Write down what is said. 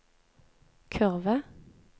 kurve